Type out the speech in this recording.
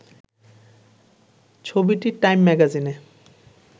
ছবিটিটাইম ম্যাগাজিনে